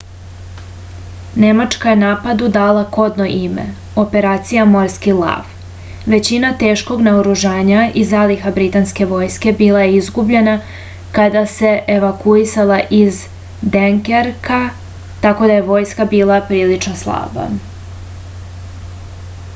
nemačka je napadu dala kodno ime operacija morski lav većina teškog naoružanja i zaliha britanske vojske bila je izgubljena kada se evakuisala iz denkerka tako da je vojska bila prilično slaba